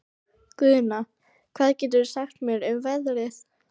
Guðna, hvað geturðu sagt mér um veðrið?